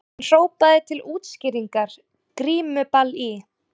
Fréttin í heild: Er vörnin vandamálið?